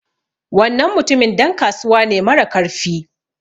Wannan mutumin dan kasuwa ne marakarfi